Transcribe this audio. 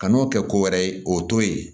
Kan'o kɛ ko wɛrɛ ye o t'o ye